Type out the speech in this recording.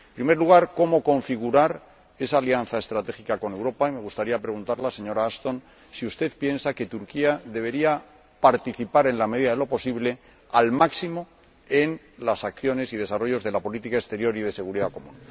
En primer lugar, cómo configurar esa alianza estratégica con Europa me gustaría preguntarle, señora Ashton, si usted piensa que Turquía debería participar al máximo, en la medida de lo posible, en las acciones y el desarrollo de la Política Exterior y de Seguridad Común.